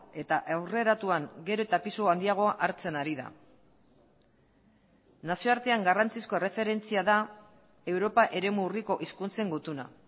eta aurreratuan gero eta pisu handiagoa hartzen ari da nazioartean garrantzizko erreferentzia da europa eremu urriko hizkuntzen gutuna